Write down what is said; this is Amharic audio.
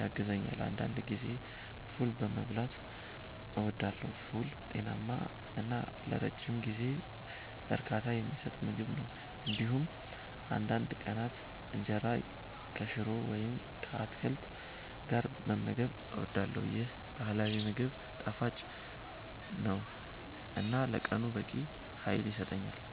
ያግዛል። አንዳንድ ጊዜ ፉል መብላትም እወዳለሁ። ፉል ጤናማ እና ለረጅም ጊዜ እርካታ የሚሰጥ ምግብ ነው። እንዲሁም አንዳንድ ቀናት እንጀራ ከሽሮ ወይም ከአትክልት ጋር መመገብ እወዳለሁ። ይህ ባህላዊ ምግብ ጣፋጭ ነው እና ለቀኑ በቂ ኃይል ይሰጣል።